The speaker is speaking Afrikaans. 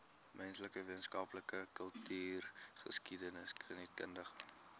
menslike wetenskappe kultureelgeskiedkundige